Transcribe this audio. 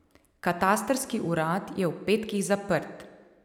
Katastrski urad je ob petkih zaprt.